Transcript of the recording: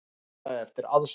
Hann kallaði eftir aðstoð.